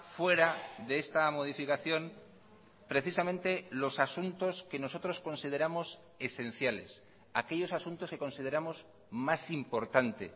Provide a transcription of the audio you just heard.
fuera de esta modificación precisamente los asuntos que nosotros consideramos esenciales aquellos asuntos que consideramos más importante